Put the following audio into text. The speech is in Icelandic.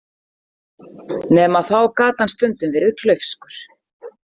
Nema að þá gat hann stundum verið klaufskur.